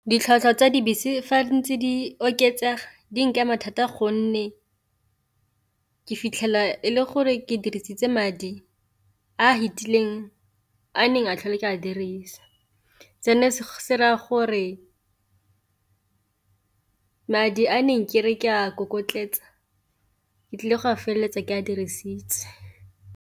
Ditlhwatlhwa tsa dibese fa ntse di oketsaga di nkama thata gonne ke fitlhela e le gore ke dirisitse madi a fitileng a neng a tlhole ke a dirisa, seno se raya gore madi a neng ke re ke a kokotletsa ke tlile go a feleletsa ke a dirisitse.